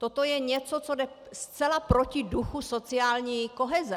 Toto je něco, co jde zcela proti duchu sociální koheze.